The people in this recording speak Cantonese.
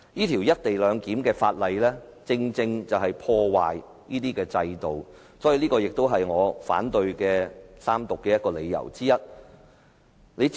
《條例草案》的目的正是在破壞制度，這是我反對《條例草案》三讀的理由之一。